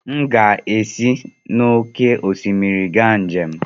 M ga-esi n'oké osimiri ga njem.